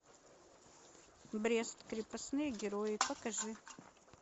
брест крепостные герои покажи